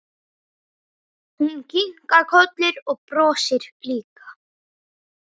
Hún kinkar kolli og brosir líka.